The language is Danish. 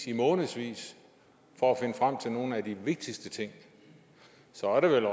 i månedsvis for at finde frem til nogle af de vigtigste ting så er det vel